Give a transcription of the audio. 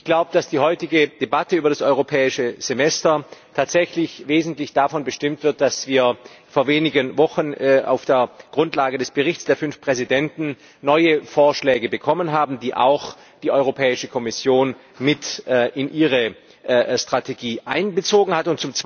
Ich glaube, dass die heutige Debatte über das Europäische Semester tatsächlich wesentlich davon bestimmt wird, dass wir vor wenigen Wochen auf der Grundlage des Berichts der fünf Präsidenten neue Vorschläge bekommen haben, die auch die Europäische Kommission mit in ihre Strategie einbezogen hat.